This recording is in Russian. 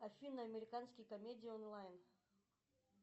афина американские комедии онлайн